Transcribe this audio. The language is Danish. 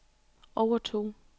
overtog